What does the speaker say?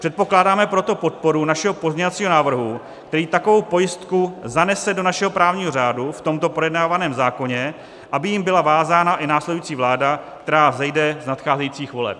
Předpokládáme proto podporu našeho pozměňovacího návrhu, který takovou pojistku zanese do našeho právního řádu v tomto projednávaném zákoně, aby jím byla vázána i následující vláda, která vzejde z nadcházejících voleb.